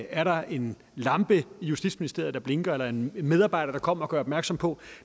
er der en lampe i justitsministeriet der blinker eller en medarbejder der kommer og gør opmærksom på